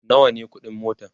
nawa ne ƙuɗin motan?